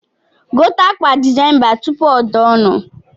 Gote akwa desemba tupu o daa onu